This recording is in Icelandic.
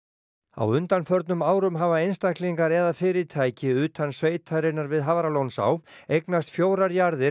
á undanförnum árum hafa einstaklingar eða fyrirtæki utan sveitarinnar við Hafralónsá eignast fjórar jarðir